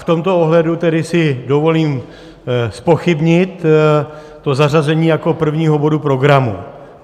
V tomto ohledu tedy si dovolím zpochybnit to zařazení jako prvního bodu programu.